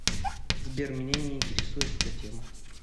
сбер меня не интересует эта тема